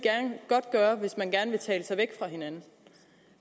godt gøre hvis man gerne vil tale sig væk fra hinanden